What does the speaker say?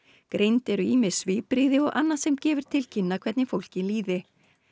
greind eru ýmis svipbrigði og annað sem gefur til kynna hvernig fólki líði